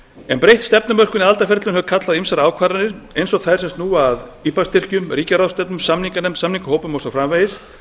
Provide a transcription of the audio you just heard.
en breytt stefnumörkun í aðildarferlinu hefur kallað á ýmsar ákvarðanir eins og þær sem snúa að ipa styrkjum ríkjaráðstefnum samninganefnd samningahópum og svo framvegis en það